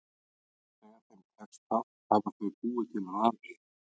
Þegar þeim tekst það hafa þau búið til rafeyri.